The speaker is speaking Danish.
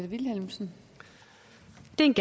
det en